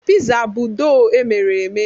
Pịza bụ dọọ emere eme.